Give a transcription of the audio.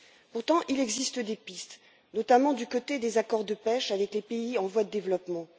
Pourtant il existe des pistes, notamment du côté des accords de pêche avec les pays en voie de développement.